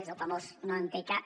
és el famós no en té cap